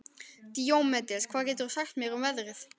Díómedes, hvað geturðu sagt mér um veðrið?